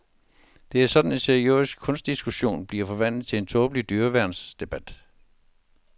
Det er sådan en seriøs kunstdiskussion bliver forvandlet til tåbelig dyreværnsdebat.